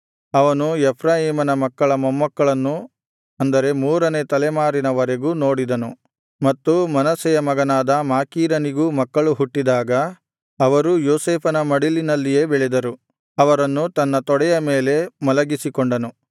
ಅವನು ಎಫ್ರಾಯೀಮನ ಮಕ್ಕಳ ಮೊಮ್ಮಕ್ಕಳನ್ನು ಅಂದರೆ ಮೂರನೇ ತಲೆಮಾರಿನವರೆಗೂ ನೋಡಿದನು ಮತ್ತು ಮನಸ್ಸೆಯ ಮಗನಾದ ಮಾಕೀರನಿಗೂ ಮಕ್ಕಳು ಹುಟ್ಟಿದಾಗ ಅವರೂ ಯೋಸೇಫನ ಮಡಿಲಿನಲ್ಲಿಯೇ ಬೆಳೆದರು ಅವರನ್ನು ತನ್ನ ತೊಡೆಯ ಮೇಲೆ ಮಲಗಿಸಿಕೊಂಡನು